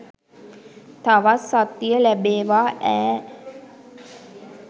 තවත් සත්තිය ලැබේවා ඈ.